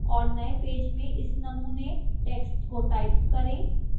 और नए पेज में इस नमूने text को type करें